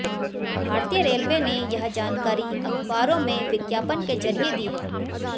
भारतीय रेलवे ने यह जानकारी अखबारों में विज्ञापन के जरिए दी है